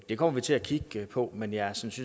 det kommer vi til at kigge på men jeg synes